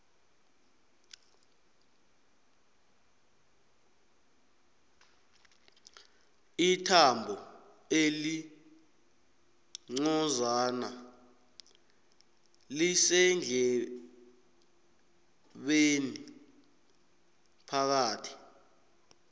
ithambo elincozana lisendlebeni phakathi